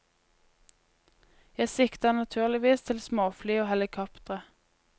Jeg sikter naturligvis til småfly og helikoptre.